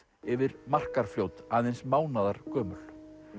yfir Markarfljót aðeins mánaðargömul